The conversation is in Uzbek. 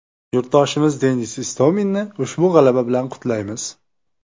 Yurtdoshimiz Denis Istominni ushbu g‘alaba bilan qutlaymiz!